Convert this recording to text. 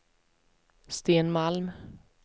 Sten Malm